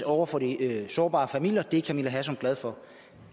over for de sårbare familier det er fru camilla hersom glad for